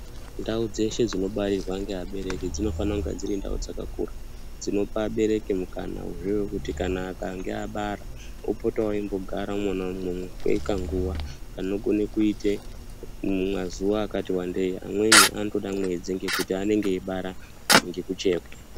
Ndau dzeshe dzinobarirwa ngeabereki dzinofana kunga dziri ndau dzakakura, dzinopa abereki mukana wekuti kana akange abara opotawo eimbogara imwomwo kwekanguwa kanogone kuite mazuwa akati wandei amweni anotoda mwedzi ngekuti anenge eibara ngekuchekwa.